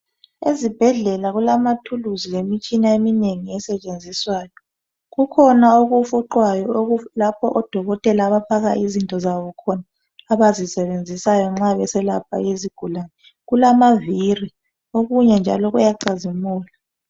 Ezibhedlela kulamathuluzi lemitshina eminengi esetshenziswayo. Kukhona okufuqwayo lapho odokotela abafaka khon izinto zabo abazisebenzisayo nxa beselapha izigulani. Kulamaviri, okunye njalo kuyacazimula.